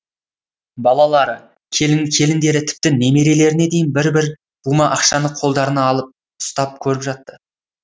балалары келіндері тіпті немерелеріне дейін бір бір бума ақшаны қолдарына алып ұстап көріп жатты